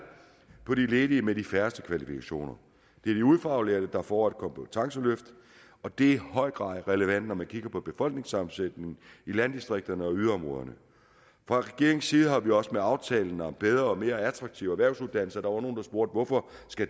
på de ledige med de færreste kvalifikationer det er de ufaglærte der får et kompetenceløft og det er i høj grad relevant når man kigger på befolkningssammensætningen i landdistrikterne og yderområderne fra regeringens side har vi også med aftalen om bedre og mere attraktive erhvervsuddannelser der var nogle der spurgte hvorfor